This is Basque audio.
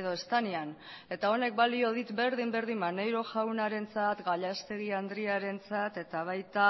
edo ez denean eta honek balio dit berdin berdin maneiro jaunarentzat gallastegui andrearentzat eta baita